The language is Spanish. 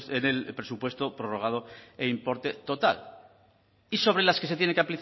en el presupuesto prorrogado e importe total y sobre las que se tiene que